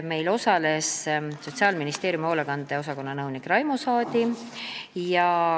Meil osales Sotsiaalministeeriumi hoolekande osakonna nõunik Raimo Saadi.